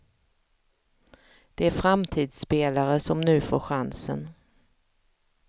Det är framtidsspelare som nu får chansen.